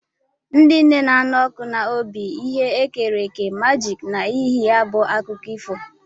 Ndị nne na-anụ ọkụ n'obi bụ ihe e kere eke majiki n'ihi ya bụ akụkọ ifo.